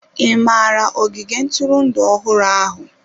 Ị maara ogige ntụrụndụ ọhụrụ ahụ?